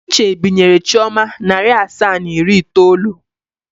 Uche binyere Chioma narị asaa na iri itoolu.